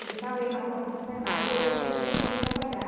Eu deixava ele na porta do Senai e eu ia para a prefeitura trabalhar.